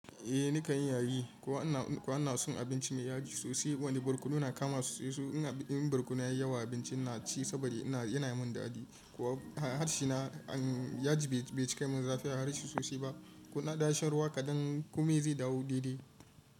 Eh nika yin yaji, kuwa ana son abinci mai yaji sosai wani barkono na kama sosai. In barkono yayi yawa a abincin na ci saboda yana mun dadi kuwa harshe na yaji bai cika min zafi a harshe sosai ba. Kona dan sha ruwa kadan komai zai dawo daidai.